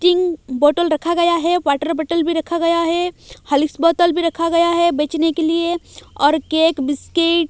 king bottle रखा गया है वाटर बॉटल भी रखा गया है हॉर्लिक्स बॉटल भी रखा गया है बचने के लिए और केक बिस्किट --